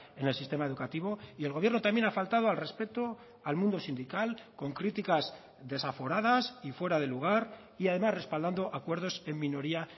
en el sistema educativo y el gobierno también ha faltado al respeto al mundo sindical con críticas desaforadas y fuera de lugar y además respaldando acuerdos en minoría